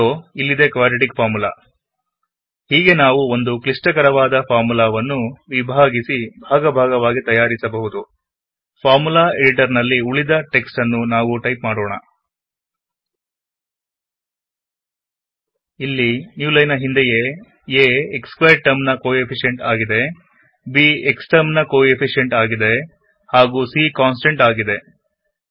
ಇದೋ ಇಲ್ಲಿದೆ quadratic formula ಒಂದು ಕ್ಲಿಷ್ಟಕರವಾದ ಫಾರ್ಮುಲ ವನ್ನು ನಾವು ಸಣ್ಣ ಸಣ್ಣ ಭಾಗಗಳಾಗಿ ವಿಭಾಗಿಸಿ ಹೀಗೆ ತಯಾರಿಸಬಹುದು ಫಾರ್ಮುಲ ಎಡಿಟಾರ್ ನಲ್ಲಿ ಉಳಿದ ಟೆಕ್ಸ್ಟ್ ನನ್ನು ನಾವು ಟೈಪ್ ಮಾಡೋಣ ಇಲ್ಲಿ ನ್ಯೂ ಲೈನ್ ನ ಹಿಂದೆಯೇa x ಸ್ಕ್ವೇರ್ಡ್ ಟರ್ಮ್ ನ ಕೊಎಫಿಷಿಯಂಟ್ ಆಗಿದೆ ಬಿಎಕ್ಸ್ ಟರ್ಮ್ ನ ಕೊಎಫಿಷಿಯಂಟ್ ಆಗಿದೆ ಹಾಗು c ಕಾಂಸ್ಟಂಟ್ ಆಗಿದೆ